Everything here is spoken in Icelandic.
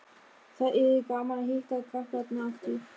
Það yrði gaman að hitta krakkana aftur